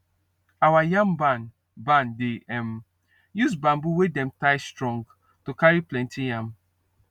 our yam barn barn dey um use bamboo wey dem tie strong to carry plenty yam